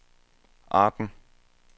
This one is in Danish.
Arden